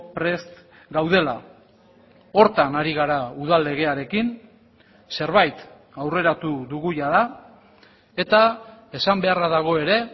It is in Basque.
prest gaudela horretan ari gara udal legearekin zerbait aurreratu dugu jada eta esan beharra dago ere